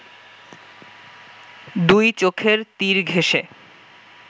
দুই চোখের তীর ঘেঁষে